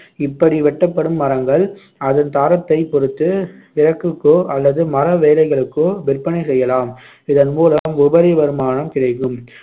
இப்படி வெட்டப்படும் மரங்கள் அதன் தரத்தைப் பொறுத்து விறகுக்கோ அல்லது மர வேலைகளுக்கோ விற்பனை செய்யலாம் இதன் மூலம் உபரி வருமானம் கிடைக்கும்